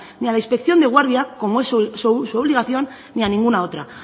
ni a la inspección de guardia como es su obligación ni a ninguna otra